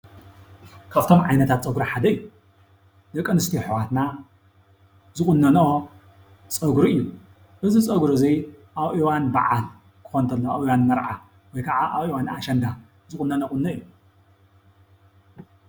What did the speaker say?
ካብቶም ዓይነታት ፀጉሪ ሓደ እዩ፡፡ ደቂ ኣንስትዮ ኣሕዋትና ዝቑነንኦ ፀጉሪ እዩ፡፡ እዚ ፀጉሪ እዚ ኣብ እዋን በዓል ክኾን ተሎ ኣብ እዋን መርዓ ወይ ከዓ ኣብ እዋን ኣሸንዳ ዝቑነንኦ ቑኖ እዩ፡፡